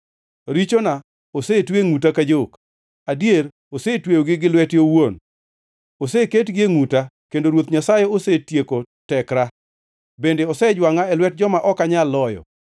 Richona osetwe e ngʼuta ka jok; adier osetweyogi gi lwete owuon. Oseketgi e ngʼuta kendo Ruoth Nyasaye osetieko tekra, bende osejwangʼa e lwet joma ok anyal loyo.